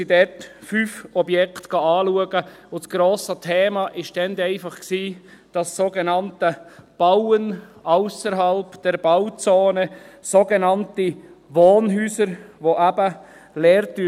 Wir haben damals fünf Objekte angeschaut, und das grosse Thema war einfach das sogenannte «Bauen ausserhalb der Bauzone» – sogenannte Wohnhäuser, die eben leer stehen.